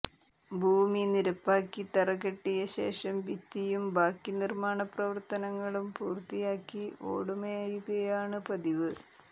ഭൂമി നിരപ്പാക്കി തറകെട്ടിയ ശേഷം ഭിത്തിയും ബാക്കി നിര്മാണ പ്രവര്ത്തനങ്ങളും പൂര്ത്തിയാക്കി ഓടുമേയുകയാണ് പതിവ്